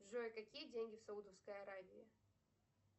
джой какие деньги в саудовской аравии